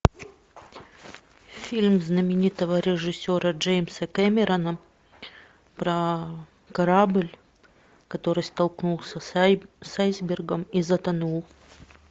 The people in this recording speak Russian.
фильм знаменитого режиссера джеймса кэмерона про корабль который столкнулся с айсбергом и затонул